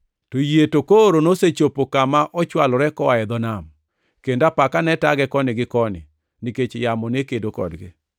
to yie to koro nosechopo kama ochwalore koa e dho nam, kendo apaka ne tage koni gi koni, nikech yamo ne kedo kodgi.